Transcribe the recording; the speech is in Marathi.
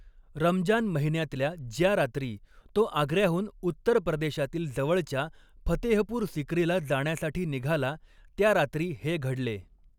रमजान महिन्यातल्या ज्या रात्री तो आग्र्याहून उत्तर प्रदेशातील जवळच्या फतेहपूर सिक्रीला जाण्यासाठी निघाला, त्या रात्री ही घडले.